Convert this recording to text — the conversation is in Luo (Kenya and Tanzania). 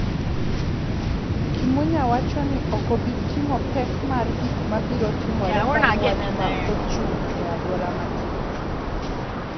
Kimunya wacho ni ok obi ting�o pek mar gik ma biro timore bang� wach ma ochung� e alwora machielo.